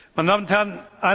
Meine Damen und Herren!